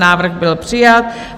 Návrh byl přijat.